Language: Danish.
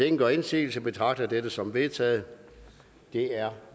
ingen gør indsigelse betragter jeg dette som vedtaget det er